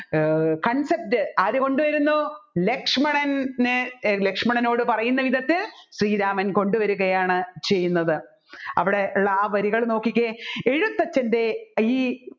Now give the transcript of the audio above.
ഏർ concept ആരുകൊണ്ടുവരുന്നു ലക്ഷ്മണന് ലക്ഷ്മണനോട് പറയുന്ന വിധത്തിൽ ശ്രീരാമൻ കൊണ്ടുവരികയാണ് ചെയ്യുന്നത് അവിടെ ഉള്ള ആ വരികൾ നോക്കിക്കേ എഴുത്തച്ഛൻെറ ഈ